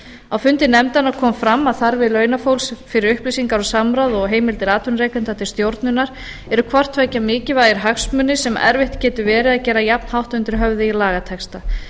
á fundi nefndarinnar kom fram að þarfir launafólks fyrir upplýsingar og samráð og heimildir atvinnurekenda til stjórnunar eru hvort tveggja mikilvægir hagsmunir sem erfitt getur verið að gera jafn hátt undir höfði í lagatexta